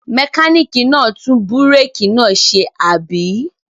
Mẹkáníkì náà tún búrékì náà ṣe, àbí?